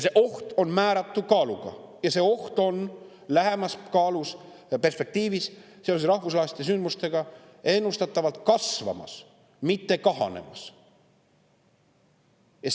See oht on määratu kaaluga ja see oht on lähemas perspektiivis seoses rahvusvaheliste sündmustega ennustatavalt kasvamas, mitte kahanemas.